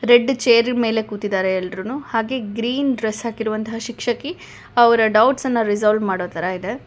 Red chair ಮೇಲೆ ಕೂತಿದಾರೆ ಎಲ್ರೂನು ಹಾಗೆ ಗ್ರೀನ್ ಡ್ರೆಸ್ ಹಾಕಿರುವಂತಹ ಶಿಕ್ಷಕಿ ಅವರ ಡೌಟ್ಸನ್ನ ರಿಸಾಲ್ವ್ ಮಾಡೋ ತರ ಇದೆ.